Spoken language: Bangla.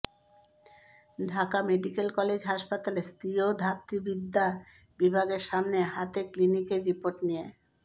ঢাকা মেডিকেল কলেজ হাসপাতালে স্ত্রী ও ধাত্রীবিদ্যা বিভাগের সামনে হাতে ক্লিনিকের রিপোর্ট নিয়ে